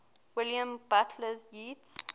william butler yeats